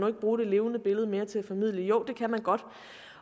kan bruge det levende billede mere til at formidle jo det kan man godt